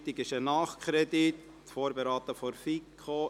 Es handelt sich um einen Nachkredit, vorberaten von der FiKo.